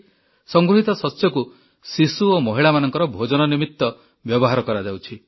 ସଂଗୃହୀତ ଶସ୍ୟକୁ ଶିଶୁ ଓ ମହିଳାମାନଙ୍କର ଭୋଜନ ନିମିତ ବ୍ୟବହାର କରାଯାଉଛି